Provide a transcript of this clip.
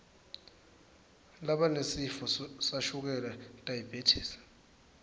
labanesifo sashukela diabetes